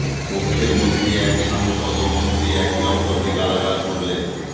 কক্ষের মধ্যেই এক সাংসদ ও মন্ত্রী একে অপরকে গালাগাল করলেন